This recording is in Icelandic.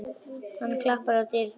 Hann klappar á dýnuna.